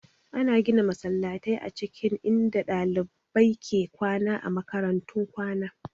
Ana gina masallatai a cikin inda ɗalibai ke kwana a makarantun kwana